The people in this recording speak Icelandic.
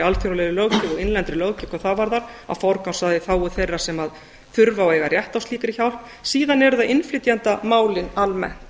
alþjóðlegri löggjöf og innlendri löggjöf hvað það varðar að forgangsraða í þágu þeirra sem þurfa og eiga rétt á slíkri hjálp síðan eru það innflytjendamálin almennt